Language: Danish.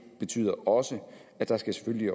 betyder også at der selvfølgelig